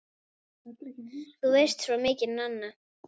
Þú veist svo mikið, Nanna!